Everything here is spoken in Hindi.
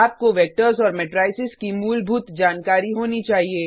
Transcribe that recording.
आपको वेक्टर्स और मैट्रिसेज की मूलभूत जानकारी होनी चाहिए